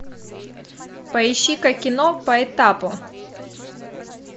поищи ка кино по этапу